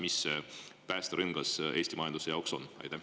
Mis see päästerõngas Eesti majanduse jaoks on?